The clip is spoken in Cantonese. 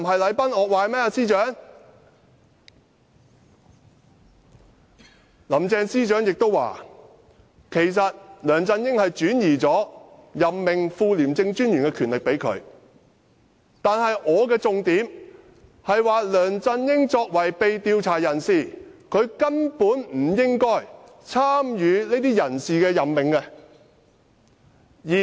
林鄭司長亦表示，其實梁振英已向她轉授任命副廉政專員的權力，但我提出的重點是，梁振英作為被調查人士，根本不應參與這些人事任命。